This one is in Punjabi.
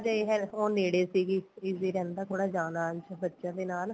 ਇਹ ਹੈ ਉਹ ਨੇੜੇ ਸੀਗੀ easy ਰਹਿੰਦਾ ਥੋੜਾ ਜਾਨ ਆਣ ਚ ਬੱਚਿਆਂ ਦੇ ਨਾਲ